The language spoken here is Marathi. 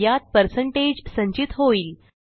यात पर्सेंटेज संचित होईल